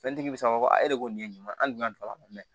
Fɛntigi bɛ se k'a fɔ a e de ko nin ye ɲuman ye an dun ka don a la